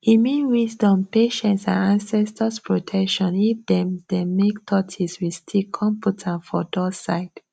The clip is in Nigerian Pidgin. e mean wisdom patience and ancestors protection if dem dem make tortis with stick con put am for door side